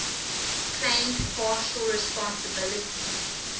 claimed partial responsibility